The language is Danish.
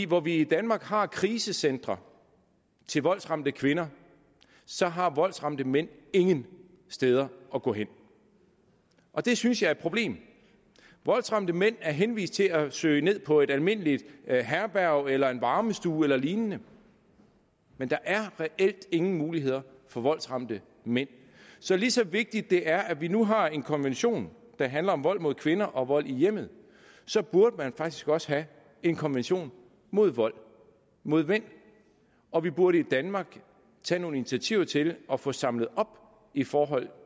hvor vi i danmark har krisecentre til voldsramte kvinder så har voldsramte mænd ingen steder at gå hen og det synes jeg er et problem voldsramte mænd er henvist til at søge ned på et almindeligt herberg eller en varmestue eller lignende der er reelt ingen muligheder for voldsramte mænd så lige så vigtigt det er at vi nu har en konvention der handler om vold mod kvinder og vold i hjemmet så burde man faktisk også have en konvention mod vold mod mænd og vi burde i danmark tage nogle initiativer til at få samlet op i forhold